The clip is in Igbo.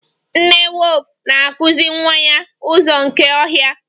Nne wulfu na-akụzi nwa ya ụzọ nke ọhịa.